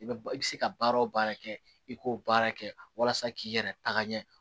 I bɛ i bɛ se ka baara o baara kɛ i k'o baara kɛ walasa k'i yɛrɛ taga ɲɛ